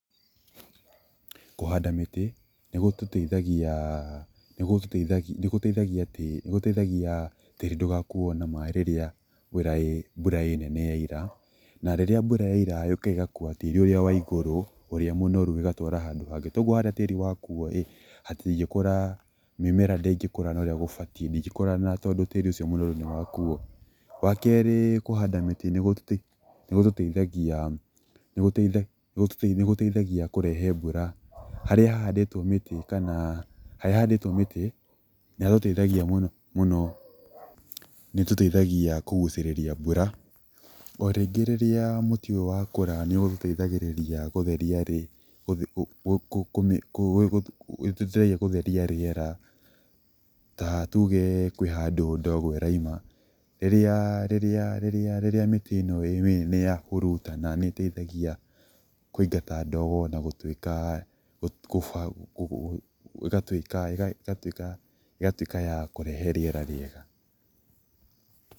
Kũhanda mĩtĩ nĩgũteithagia tĩĩri ndũgakuuo nĩ maaĩ rĩrĩa mbura yoira, na rĩrĩa mbura yoira yũkaga ĩgakuua tĩĩri ũrĩa mũnoru ĩgatwara handũ hangĩ. Koguo harĩa tĩĩri wakuuo rĩ, mĩmera ndĩngĩkũra ũrĩa gũbatiĩ na tondũ tĩĩri ũcio mũnoru nĩ wakuuo. Wa keerĩ kũhanda mĩtĩ nĩ gũtũteithagia kũgucĩrĩria mbura.O rĩngĩ rĩrĩa mũtĩ ũyũ wakũra nĩũteithagĩrĩria gũtheria rĩera ta tuuge kwĩ handũ ndogo ĩroima rĩrĩa mĩtĩ yahuruta nĩĩteithagia kũingata ndogo na gũtuĩka ya kũrehe rĩera rĩega.